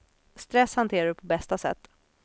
Stress hanterar du på bästa sätt.